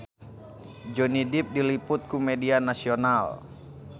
Johnny Depp diliput ku media nasional